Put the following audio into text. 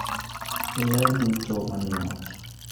ler duto manie ot